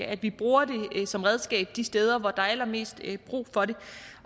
at vi bruger det som redskab de steder hvor der er allermest brug for det